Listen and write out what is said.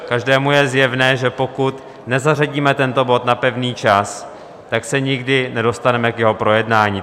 Každému je zjevné, že pokud nezařadíme tento bod na pevný čas, tak se nikdy nedostaneme k jeho projednání.